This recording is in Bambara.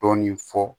Dɔɔnin fɔ